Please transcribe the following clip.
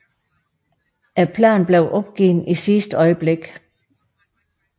Planen blev opgivet i sidste øjeblik